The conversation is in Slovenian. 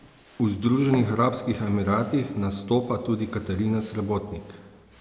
V Združenih arabskih emiratih nastopa tudi Katarina Srebotnik.